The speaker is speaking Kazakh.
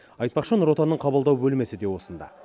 айтпақшы нұо отанның қабылдау бөлмесі де осында